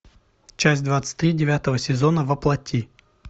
часть двадцать три девятого сезона во плоти